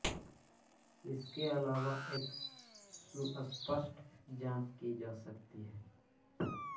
इसके अलावा एक सुस्पष्ट जांच की जा सकती है